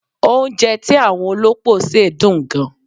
Oúnjẹ tí àwọn olópò ṣe dùn gan.